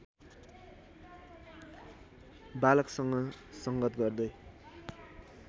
बालकसँग संगत गर्दै